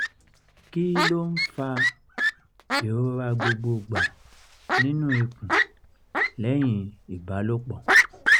kí ló ń fa ìrora gbogbogba nínú ikún lẹ́yìn ìbálòpọ̀?